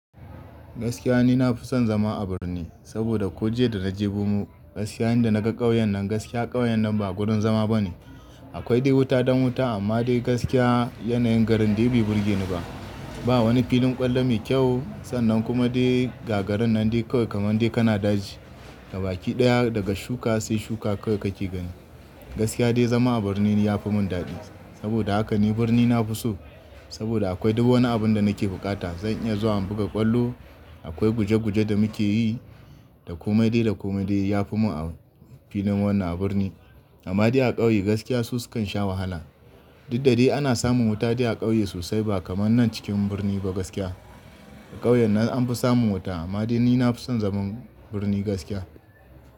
Gaskiya ni na fi son zama a birni saboda ko jiya da na je bumu gaskiya inda na ga ƙauyen nan gaskiya ƙauyen nan ba wurin zama bane. Akwai dai wuta dan wuta amma dai gaskiya yanayin garin dai bai burgeni ba. Ba wani filin ƙwallo mai kyau sannan kuma dai gagarin nan dai kawai kamar dai kana daji. Gabaki ɗaya daga shuka sai shuka kawai kake gani. Gaskiya dai zama a birni ya fi mun dadi saboda haka ni birni na fi so saboda akwai duk wani abun da nake buƙata. Zan iya zuwa in buga ƙwallo, akwai guje guje da muke yi, da komai dai da komai dai ya fi mun a filin wannan a birni. Amma dai a ƙauye gaskiya su sukan sha wahala. Diddai ana samun wuta dai a ƙauye sosai ba kamar nan cikin birni ba gaskiya. A ƙauyen nan an fi samun wuta amma dai ni na fi son zaman birni gaskiya.